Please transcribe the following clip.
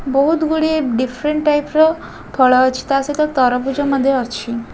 ବୋହୁତ ଗୁଡ଼ିଏ different type ର ଫଳ ଅଛି ତା ସହିତ ତରଭୁଜ ମଧ୍ୟ ଅଛି।